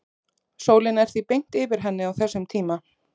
sólin er því beint yfir henni á þessum tíma